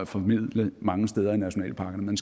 formidle mange steder i nationalparkerne men